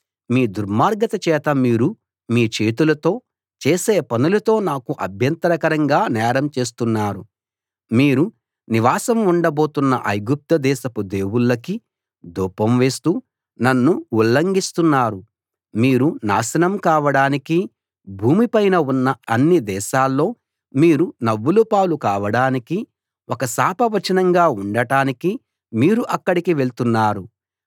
మీ దుర్మార్గత చేత మీరు మీ చేతులతో చేసే పనులతో నాకు అభ్యంతరకరంగా నేరం చేస్తున్నారు మీరు నివాసం ఉండబోతున్న ఐగుప్తు దేశపు దేవుళ్ళకి ధూపం వేస్తూ నన్ను ఉల్లంఘిస్తున్నారు మీరు నాశనం కావడానికీ భూమి పైన ఉన్న అన్ని దేశాల్లో మీరు నవ్వుల పాలు కావడానికీ ఒక శాప వచనంగా ఉండటానికీ మీరు అక్కడికి వెళ్తున్నారు